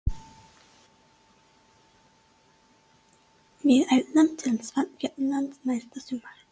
Við ætlum til Svartfjallalands næsta sumar.